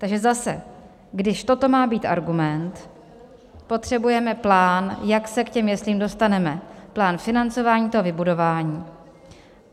Takže zase, když toto má být argument, potřebujeme plán, jak se k těm jeslím dostaneme, plán financování toho vybudování.